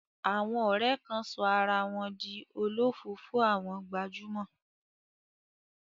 Àwọn ọ̀rẹ́ kan sọ ara wọn di olofoofo àwọn gbajúmọ̀.